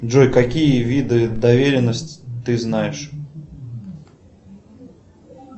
джой какие виды доверенности ты знаешь